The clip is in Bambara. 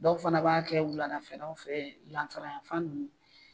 Dɔw fana b'a kɛ wuladafɛlaw fɛ lanzara yan fan ninnu